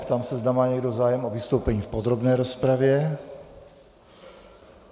Ptám se, zda má někdo zájem o vystoupení v podrobné rozpravě.